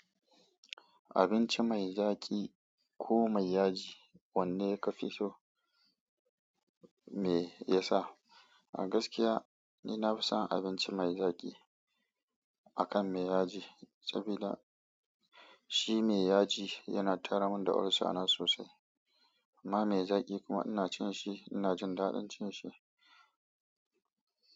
Abinci mai zaƙi ko mai yaji wanne ka fi so me yasa? A gaskiya ni nafi son abinci mai zaƙi akan mai yaji saboda shi mai yaji yana taramin da olsana sosai. Amma mai zaƙi kuma ina cin shi ina jin daɗin cin shi.